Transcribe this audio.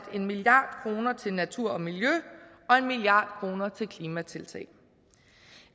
en milliard kroner til natur og miljø og en milliard kroner til klimatiltag